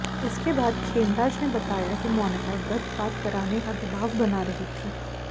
इसके बाद खेमराज ने बताया कि मोनिका गर्भपात कराने का दबाव बना रही थी